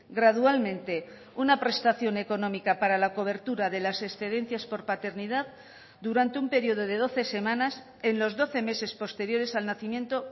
gradualmente una prestación económica para la cobertura de las excedencias por paternidad durante un periodo de doce semanas en los doce meses posteriores al nacimiento